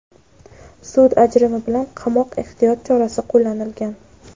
sud ajrimi bilan "qamoq" ehtiyot chorasi qo‘llanilgan.